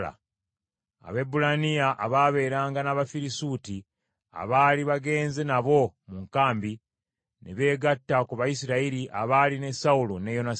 Abaebbulaniya abaabeeranga n’Abafirisuuti, abaali bagenze nabo mu nkambi, ne beegatta ku Bayisirayiri abaali ne Sawulo ne Yonasaani.